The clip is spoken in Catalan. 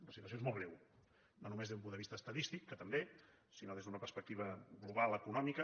la situació és molt greu no només des d’un punt de vista estadístic que també sinó des d’una perspectiva global econòmica